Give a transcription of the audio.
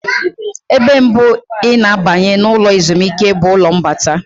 Ebe mbụ ị na-abanye na ụlọ ezumike bụ ụlọ mbata.